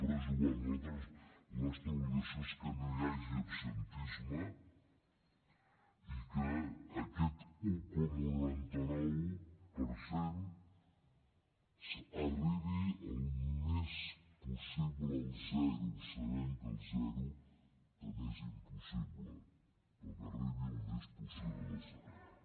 però és igual la nostra obligació és que no hi hagi absentisme que aquest un coma noranta nou per cent s’acosti el màxim possible al zero sabent que el zero també és impossible però que s’acosti el màxim possible al zero